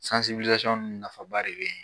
nafaba de bɛ yen.